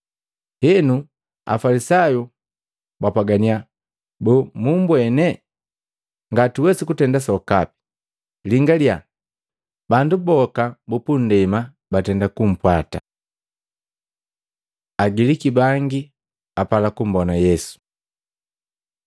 Henu, Afalisayu bapwaganiya, “Boo mumbwene? Ngatuwesi kutenda sokape! Lingalia, Bandu boka bupundema batenda kumpwata.” Agiliki bangi apala kumbona Yesu